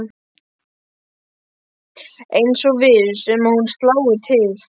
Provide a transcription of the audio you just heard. Eins og viss um að hún slái til.